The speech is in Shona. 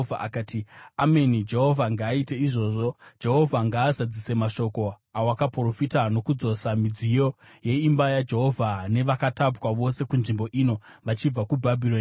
Akati, “Ameni! Jehovha ngaaite izvozvo! Jehovha ngaazadzise mashoko awakaprofita, nokudzosa midziyo yeimba yaJehovha nevakatapwa vose kunzvimbo ino vachibva kuBhabhironi.